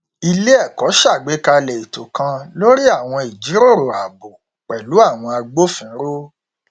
ilé ẹkọ ṣàgbékalẹ ètò kan lórí àwọn ìjíròrò ààbò pẹlú àwọn agbófinró